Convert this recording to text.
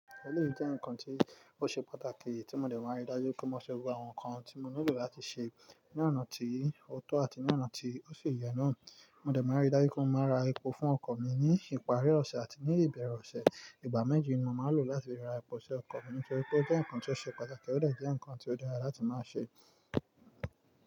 Ẹléyi jẹ́ nkan tí ó ṣe pàtàkì tí mo dẹ̀ máa ń rí dájú pé mo ṣe gbogbo àwọn nkan tí mo nílò láti sè é ní ọ̀nà tí ó tọ́ àti ní ọ̀nà tí ó si yẹ̀ náà. Mo dẹ̀ máa ń rí dájú pé mo máa ra epo fún ọkọ̀ mi ní ìparí ọ̀sẹ̀ àti ní ìbẹ̀rẹ̀ ọ̀sẹ̀. Ìgbà méjì ni mo máa ń lò láti ra epo ṣe ọkọ̀ mi nítorí pé ó jẹ́ nkan tí ó ṣe pàtàkì ó dà jẹ́ nkan tí ó dára láti máa ṣe é.